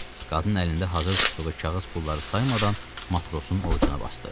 Qadın əlində hazır tutduğu kağız pulları saymadan matrosun ovcuna basdı.